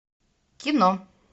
кино